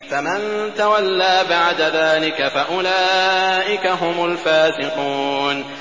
فَمَن تَوَلَّىٰ بَعْدَ ذَٰلِكَ فَأُولَٰئِكَ هُمُ الْفَاسِقُونَ